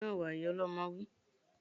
Gbé óúnjẹ náà wá! Ìyá ọlọmọ wí